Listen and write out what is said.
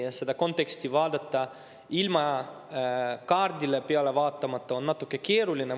Aga seda konteksti vaadata ilma kaardile vaatamata on natuke keeruline.